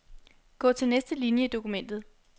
Gå til næste linie i dokumentet.